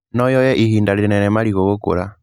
No yoye ihinda rĩnene marigũ gũkũra.